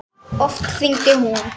Oft hringdi hún.